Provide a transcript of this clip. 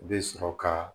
U bɛ sɔrɔ ka